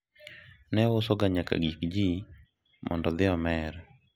ne ouso ga nyaka gik ji mondo odhi omer